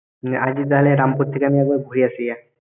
তাহলে রামপুর থেকে আমি ঘুরে আসি গিয়া।